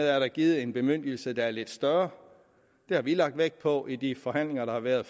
er givet en bemyndigelse der er lidt større det har vi lagt vægt på i de forhandlinger der har været